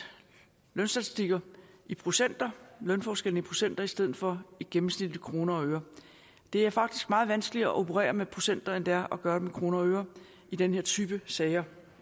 lønstatistikker i procenter lønforskellen i procenter i stedet for gennemsnitligt i kroner og øre det er faktisk meget vanskeligere at operere med procenter end det er at gøre det med kroner og øre i den her type sager